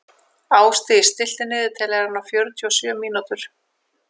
Ástdís, stilltu niðurteljara á fjörutíu og sjö mínútur.